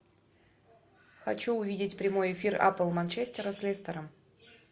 хочу увидеть прямой эфир апл манчестера с лестером